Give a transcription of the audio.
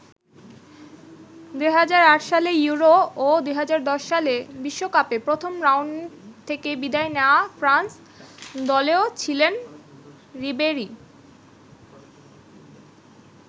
২০০৮ সালে ইউরো ও ২০১০ সালে বিশ্বকাপে প্রথম রাউন্ড থেকে বিদায় নেয়া ফ্রান্স দলেও ছিলেন রিবেরি।